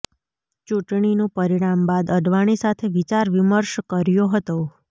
ચુંટણીનું પરિણામ બાદ અડવાણી સાથે વિચાર વિમર્શ કર્યો હતો